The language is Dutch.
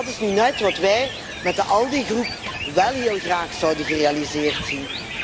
En dat is nu net wat wij met de ALDE Fractie wel heel graag zouden gerealiseerd zien.